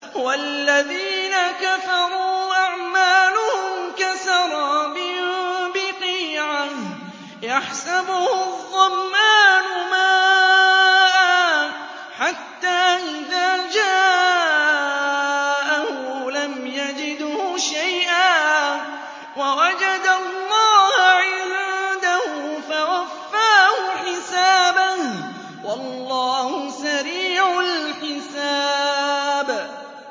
وَالَّذِينَ كَفَرُوا أَعْمَالُهُمْ كَسَرَابٍ بِقِيعَةٍ يَحْسَبُهُ الظَّمْآنُ مَاءً حَتَّىٰ إِذَا جَاءَهُ لَمْ يَجِدْهُ شَيْئًا وَوَجَدَ اللَّهَ عِندَهُ فَوَفَّاهُ حِسَابَهُ ۗ وَاللَّهُ سَرِيعُ الْحِسَابِ